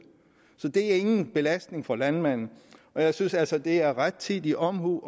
så det er ingen belastning for landmanden og jeg synes altså det er rettidig omhu